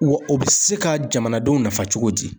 Wa o bɛ se ka jamanadenw nafa cogo di?